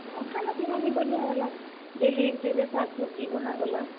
ହଁ, ଖାନା -ପିନା ବି ବଢିଆଁ ହେଲା, ଶାଗ୍ ସବ୍ ଜି ବନାଗଲା।